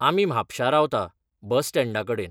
आमी म्हापशा रावता, बस स्टँडा कडेन.